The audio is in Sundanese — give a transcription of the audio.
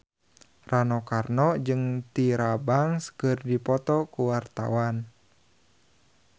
Rano Karno jeung Tyra Banks keur dipoto ku wartawan